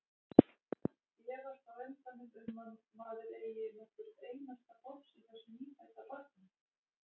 Efast á endanum um að maður eigi nokkurt einasta bofs í þessu nýfædda barni.